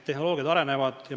Tehnoloogiad arenevad.